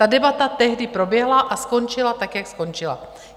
Ta debata tehdy proběhla a skončila tak, jak skončila.